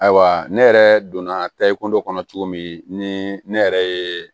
Ayiwa ne yɛrɛ donna ta i kundɔ kɔnɔ cogo min ni ne yɛrɛ ye